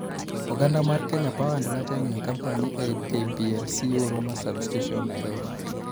Oganda mar Kenya Power and Lighting Company e KPLC Huruma Sub-station, Nairobi.